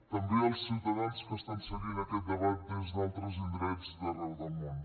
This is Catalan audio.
també els ciutadans que estan seguint aquest debat des d’altres indrets d’arreu del món